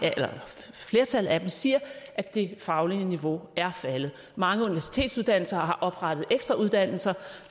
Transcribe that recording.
flertallet af dem siger at det faglige niveau er faldet mange universitetsuddannelser har oprettet ekstrauddannelser